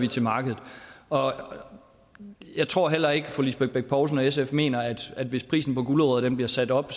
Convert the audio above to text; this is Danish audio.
til markedet jeg tror heller ikke at fru lisbeth bech poulsen og sf mener at hvis prisen på gulerødder bliver sat op